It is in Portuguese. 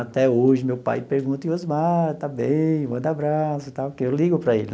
Até hoje, meu pai pergunta, e o Osmar, está bem, manda abraço e tal, que eu ligo para ele.